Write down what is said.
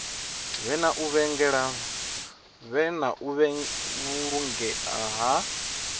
vhe na u vhulungea ha